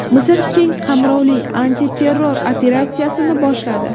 Misr keng qamrovli antiterror operatsiyasini boshladi.